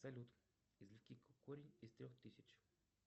салют извлеки корень из трех тысяч